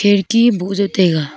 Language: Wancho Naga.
kherki boh jao taiga.